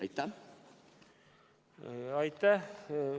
Aitäh!